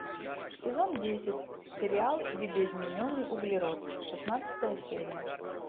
сезон десять сериал видоизмененный углерод шестнадцатая серия